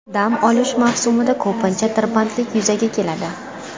Dam olish mavsumida ko‘pincha tirbandlik yuzaga keladi.